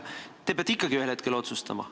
Te peate ikkagi ühel hetkel otsustama.